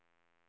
GPS